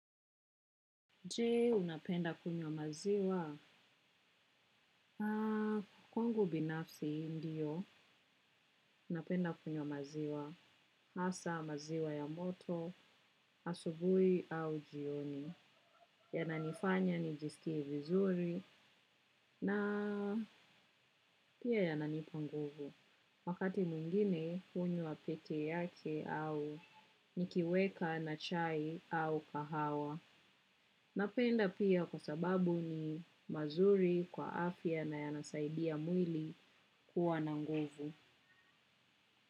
Je, unapenda kunywa maziwa? Na kwangu binafsi ndio napenda kunywa maziwa. Asa maziwa ya moto, asubui au jioni. Yananifanya nijiskie vizuri na pia yananipa nguvu. Wakati mwengine, hunywa peke yake au nikiweka na chai au kahawa. Napenda pia kwa sababu ni mazuri kwa afya na yanasaidia mwili kuwa na nguvu.